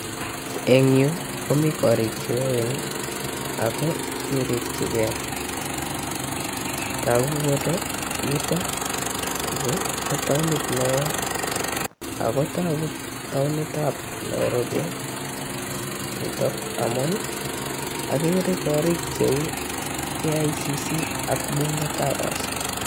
Eng yuu komii korik cheoen ak ko kirikyikee, tokuu kole yuton yuu ko taonit neoo ak ko tokuu taonitab Nairobi nitok amuun okeree korik cheu KICC ak.